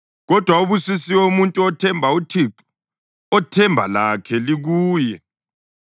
Kodwa ubusisiwe umuntu othemba uThixo, othemba lakhe likuye.